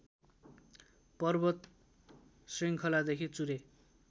पर्वत श्रृङ्खलादेखि चुरे